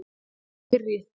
Hvað er pirri?